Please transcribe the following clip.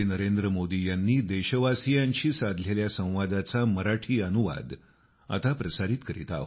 नवी दिल्ली 31 जानेवारी 2021